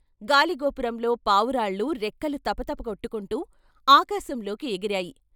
గాలిగోపురంలో పావురాళ్ళు రెక్కలు తపతప కొట్టుకుంటూ ఆకాశంలోకి ఎగిరాయి.